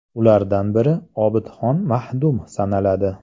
Ulardan biri Obidxon Mahdum sanaladi.